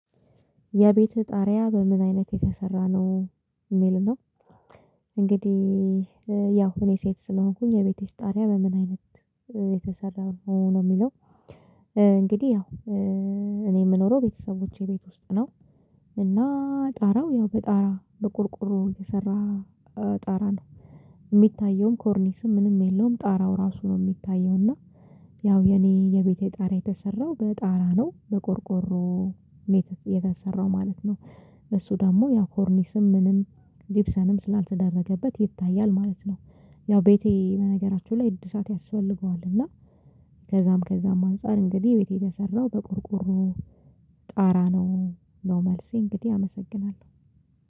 የቤትህ ጣሪያ በምን አይነት የተሰራ ነው የሚል ነው። እንግዲህ ያው እኔ ሴት ስለሆንኩኝ የቤቴሽ ጣሪያ በምን አይነት የተሰራው ነው የሚለው። እንግዲህ ያው እኔ የምኖረው ቤተሰቦቼ ቤት ውስጥ ነው። እና ጣራው ያው በጣራ በቁርቁሮ የተሰራ ጣራ ነው። ሚታየውም ኮርኒስም ምንም የለውም ጣራው ራሱ ነው የሚታየው እና። ያው የኔ የቤቴ ጣሪያ የተሰራው በጣራ ነው በቆርቆሮ ሜትር የተሰራው ማለት ነው። እሱ ደግሞ ያው ኮርኒስም ምንም ጂብሰብም ስላልተደረገበት ይታያል ማለት ነው። ያው ቤቴ በነገራችሁ ላይ ዕድሳት ያስፈልገዋል እና። ከዛም ከዛም አንፃር እንግዲህ ቤቴ የሰራው በቆርቆሮ ጣራ ነው ነው መልሴ እንግዲህ አመሰግናለሁ